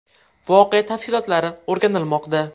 Voqea tafsilotlari o‘rganilmoqda.